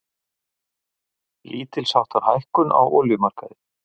Lítilsháttar hækkun á olíumarkaði